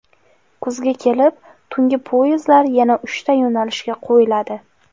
Kuzga kelib tungi poyezdlar yana uchta yo‘nalishga qo‘yiladi.